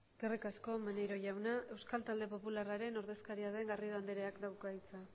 eskerrik asko maneiro jauna euskal talde popularraren ordezkaria den garrido andereak dauka hitza